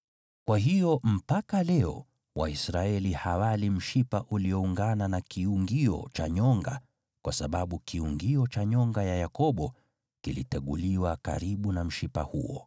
Kwa hiyo mpaka leo Waisraeli hawali mshipa ulioungana na kiungio cha nyonga, kwa sababu kiungio cha nyonga ya Yakobo kiliteguliwa karibu na mshipa huo.